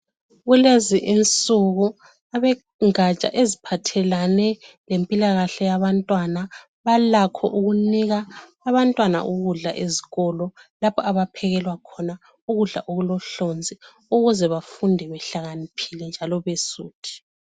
Kulezi insuku abengatsha eziphathelane lempilakahle yabantwana balakho ukunika abantwana ukudla ezikolo lapho abaphekelwa khona ukudla okulohlonzi ukuze bafunde behlakaniphile njalo besuthi.